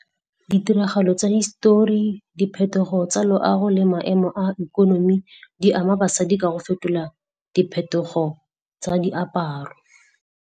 Ditiragalo tsa histori, diphetogo tsa loago le maemo a ikonomi di ama basadi ka go fetola diphetogo tsa diaparo.